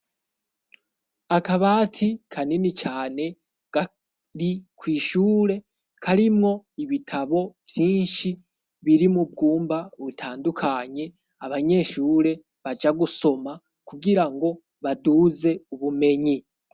akabati kanini cane kari kw'ishure karimwo ibitabo vyinshi biri mubwumba bitandukanye abanyeshure baja gusoma kugirango baduze ubumenyi